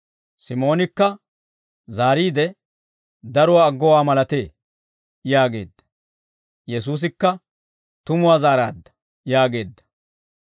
Simoonikka zaariide, «Daruwaa aggowaa malatee» yaageedda. Yesuusikka, «Tumuwaa zaaraadda» yaageedda.